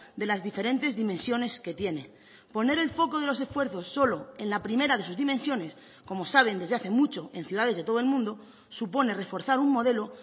de las diferentes dimensiones que tiene poner el foco de los esfuerzos solo en la primera de sus dimensiones como saben desde hace mucho en ciudades de todo el mundo supone reforzar un modelo